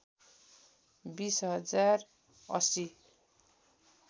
२० हजार ८०